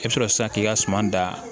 I bɛ sɔrɔ sisan k'i ka suman da